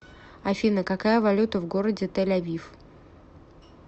афина какая валюта в городе тель авив